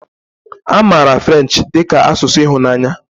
A maara French dị ka asụsụ ịhụnanya